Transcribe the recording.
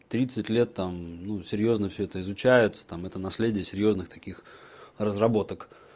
тридцать лет там ну серьёзно все это изучается там это наследие серьёзных таких разработок